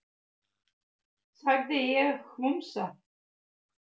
sagði ég hvumsa.